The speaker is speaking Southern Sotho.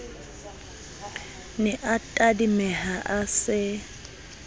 ne a tadimeha a se